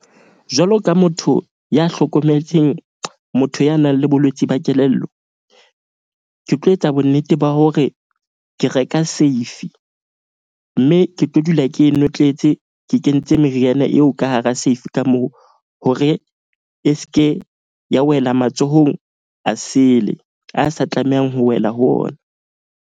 Jwalo ka motho ya hlokometseng motho ya nang le bolwetse ba kelello. Ke tlo etsa bonnete ba hore ke reka safe. Mme ke tlo dula ke notletse, ke kentse meriana eo ka hara Safe ka moo hore e ske ya wela matsohong a sele. A sa tlamehang ho wela ho ona.